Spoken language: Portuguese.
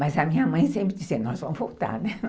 Mas a minha mãe sempre dizia, nós vamos voltar, né?